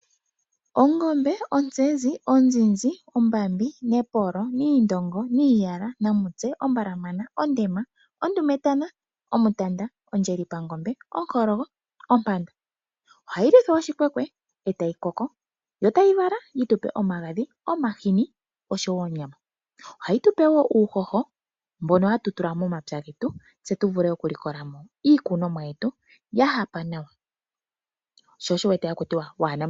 Ongombe, ontsezi, onzinzi, ombambi, nepolo, nendongo, niiyala, namutse, ombalamana, ondema, ondumetana, omutanda, ondjelipangombe, onkologo, ompanda, ohayi luthwa oshikwekwe e tayi koko. Yo tayi vala yi tupe omagadhi, omahini, oshowo onyama. Ohayi tupe wo uuhoho mbono hatu tula momapya getu, tse tu vule okulikolamo iikunomwa yetu ya hapa nawa.